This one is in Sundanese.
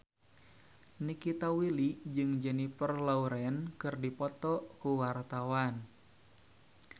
Nikita Willy jeung Jennifer Lawrence keur dipoto ku wartawan